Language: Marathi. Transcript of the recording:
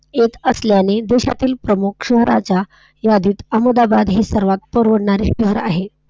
येत असल्यामुळे देशातील प्रमुख नावाच्या यादीत अहमदाबाद हे सर्वात परवडणारे शहर आहे.